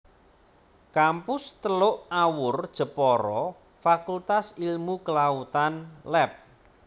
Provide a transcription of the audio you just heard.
Kampus Teluk Awur Jepara Fakultas Ilmu Kelautan Lab